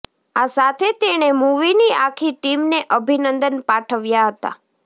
આ સાથે તેણે મૂવીની આખી ટીમને અભિનંદન પાઠવ્યા હતા